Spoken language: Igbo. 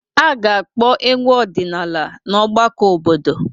A ga-akpọ egwu ọdịnala na ọgbakọ obodo.